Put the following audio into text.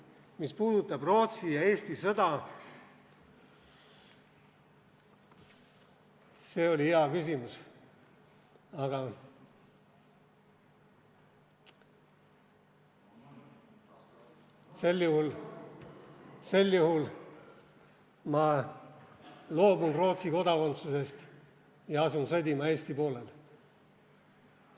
Mis puudutab Rootsi ja Eesti sõda, see oli hea küsimus, aga sel juhul ma loobun Rootsi kodakondsusest ja asun sõdima Eesti poolel.